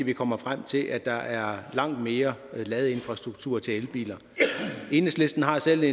vi kommer frem til at der er langt mere ladeinfrastruktur til elbiler enhedslisten har selv